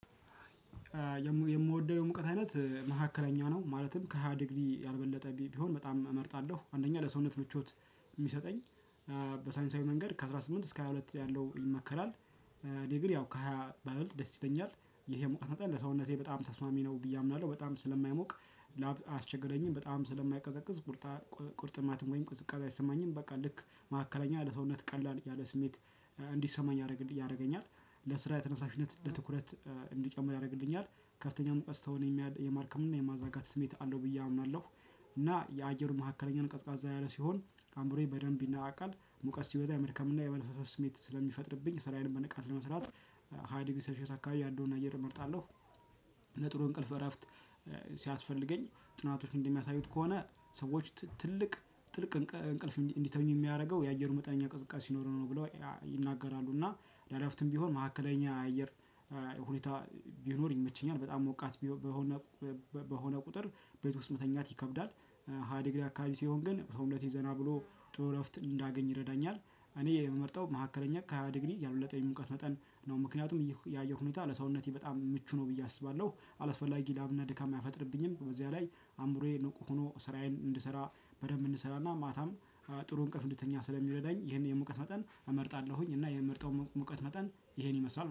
የምወደው የሙቀት አይነት መካከለኛ ነው ማለትም ከሃያ ዲግሪ ያልበለጠ ቢሆን በጣም እመርጣለሁ አንደኛ ለሰውነት ምቾት የሚሰጠኝ በሳንሳዊ መንገድ ከአስራ ስምንት እስከ ሃያ ሁለት ያለው ይመከራል። እኔ ግን ያው ከሃያ ባይበልጥ ደስ ይለኛል ይሄ የሙቀት መጠን ለሰውነቴ በጣም ተስማሚ ነው ብዬ አምናለሁ። በጣም ስለማይሞቅ ላብ አያስቸግረኝም በጣም ስለማይቀዘቅዝ ቁርጣ ቁርጥማጥ ወይም ቅዝቃዜ አይሰማኝም በቃ ልክ ማዕከለኛ ለሰውነት ቀላል ያለ ስሜት እንዲሰማኝ ያደርግልኝ ያደርገኛል። ለስራ ተነሳሽነት ለትኩረት እንዲጨምር ያደርግልኛል። ከፍተኛ ሙቀት ሰውን የማድከም እና የማዛጋት ስሜት አለው ብዬ አምናለሁ። እና የአየሩ መካከለኛውን ቀዝቃዛ ያለ ሲሆን አምሮየ በደንብ ይነቃቃል። ሙቀት ሲበዛ የመርከም እና የመልፈስፈስ ስሜት ስለሚፈጥርብኝ ስራዬንም በንቃት ለመስራት ሃይዲቢሰርሺየስ አካባቢ ያለውን አየት እመርጣለሁ። ለጥሩ እንቅልፍ እረፍት ሲያስፈልገኝ ጥናቶች እንደሚያሳዩት ከሆነ ሰወች ትልቅ ጥልቅ እንቅልፍ እንዲተኙ የሚያደርገው የአየሩ መጠነኛ ቅዝቃዜ ሲኖረው ነው ብለው ይናገራሉ። እና ለእረፍትም ቢሆን መካከለኛ አየር ሁኔታ ቢኖር ይመቸኛል። በጣም ሞቃት በሆነ በሆነ ቁጥር ቤት ውስጥ መተኛት ይከብዳል። ሃያ ዲግሪ አካባቢ ሲሆን ግን ሰውነቴ ዘና ብሎ ጥሩ እረፍትን እንዳገኝ ይረዳኛል። እኔ የምመርጠው መካከለኛ ከሃያ ዲግሪ ያልበለጠ የሙቀት መጠን ነው። ምክንያቱም የአየር ሁኔታ ለሰውነቴ በጣም ምቹ ነው ብዬ አስባለሁ። አላስፈላጊ ላብና ድካም አይፈጥርብኝም በዚያ ላይ አምሮዬ ንቁ ሆኖ ስራዬን እንድሰራ በደንብ እንሰራና ማታም ጥሩ እንቅፍ እንድተኛ ስለሚወደዳኝ። ይሄን የሙቀት መጠን እመርጣለሁኝ እና የምርጠው ሙቀት መጠን ይሄን ይመስላል